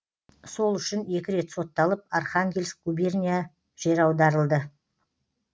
сол үшін екі рет сотталып архангельск губерния жер аударылды